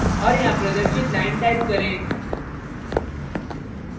और यहां प्रदर्शित line type करें